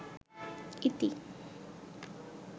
ইতি